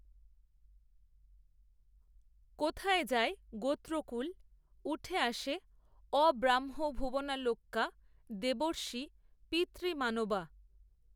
কোথায় যায় গোত্রকূল, উঠে আসে, আব্রহ্মভুবনাল্লোকা দেবর্ষি পিতৃমানবাঃ